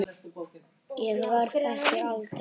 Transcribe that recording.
Ég verð ekki eldri.